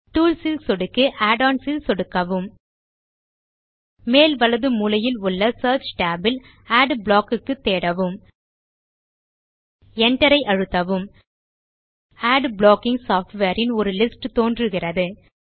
tools ல் சொடுக்கி add ons ல் சொடுக்கவும் மேல் வலது மூலையில் உள்ள சியர்ச் tab ல் அட்பிளாக் க்கு தேடவும் Enterஐ அழுத்தவும் அட் ப்ளாக்கிங் சாஃப்ட்வேர் ன் ஒரு லிஸ்ட் தோன்றுகிறது